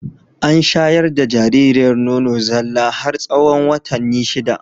An shayar da jaririyar nono zalla har tsahon watanni shida.